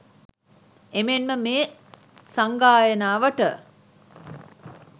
එමෙන්ම මේ සංගායනාවට